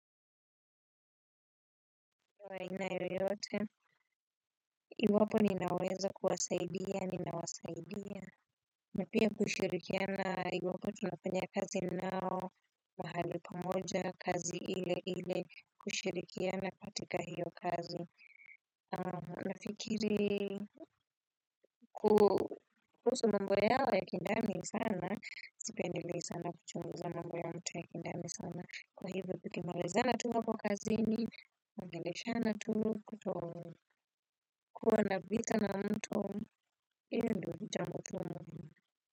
Wa aina yoyote. Iwapo ninaweza kuwasaidia, ninawasaidia. Na pia kushirikiana iwapo tunafanya kazi nao, mahali pamoja, kazi ili ili kushirikiana, katika hio kazi. Nafikiri kuhusu mambo yao ya kindani sana, sipendelei sana, kuchunguza mambo ya mtu ya kindani sana. Kwa hivyo tukimaalizana tu hapo kazini, kuongeleshana tu kuto. Kuwa na vita na mtu hio ndio jambo gumu.